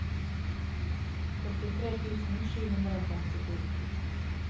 åttitre tusen sju hundre og femtito